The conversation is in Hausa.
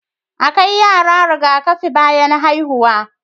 A kai yara Riga kafi bayan haihuwa